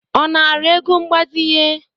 Ọ nara ego mgbazinye?